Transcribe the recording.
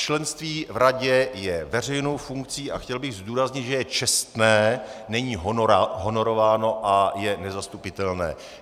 Členství v radě je veřejnou funkcí a chtěl bych zdůraznit, že je čestné, není honorováno a je nezastupitelné.